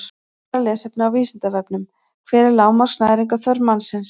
Frekara lesefni á Vísindavefnum: Hver er lágmarks næringarþörf mannsins?